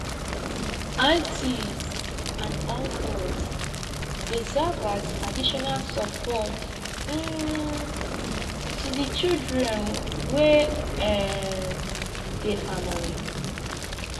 aunties and uncles dey serve as additional support um to di children wey um dey family